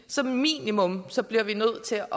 som minimum nødt til at